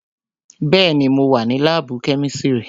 Bẹẹni, mo wà ní láàbù kẹ́mísírì"